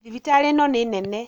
Thibitarĩ ĩno nĩ nene